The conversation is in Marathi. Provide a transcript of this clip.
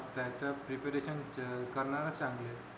त्याच preparation करणारच चांगले